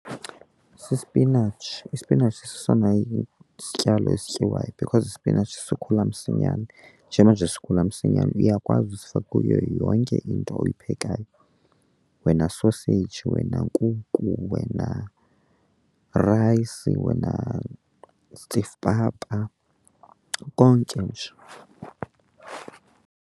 Sisipinatshi, isipinatshi sesona sityalo esityiwayo because isipinatshi sikhula msinyane. Njengoba nje sikhula msinyane uyakwazi usifaka kuyo yonke into oyiphekayo, wena soseyiji, wena nkuku, wena rayisi, wena stiff papa, konke nje.